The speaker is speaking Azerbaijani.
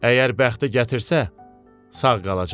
Əgər bəxti gətirsə, sağ qalacaq.